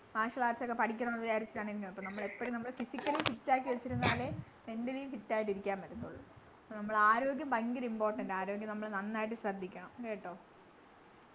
marshel arts ഒക്കെ പഠിക്കണംന്നു വിചാരിച്ചിട്ടുണ്ട് അപ്പൊ നമ്മളെപ്പോഴും നമ്മള് physically fit ആക്കി വെച്ചിരുന്നാലേ mentally ഉം fit ആയിട്ടിരിക്കാൻ പറ്റത്തൊള്ളൂ നമ്മളാരോഗ്യം ഭയങ്കര important ആ ആരോഗ്യം നമ്മള് നന്നായിട്ട് ശ്രദ്ധിക്കണം കേട്ടൊ